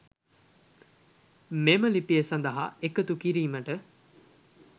මෙම ලිපිය සදහා එකතු කිරීමට